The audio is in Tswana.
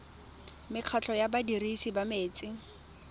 mekgatlho ya badirisi ba metsi